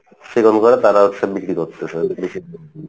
চিকন করে তারা হচ্ছে বিক্রি করতেসে